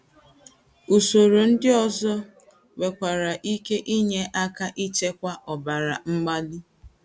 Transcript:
Usòrò ndị̀ ọzọ nwere ike inye aka ịchịkwa ọbara mgbàlì.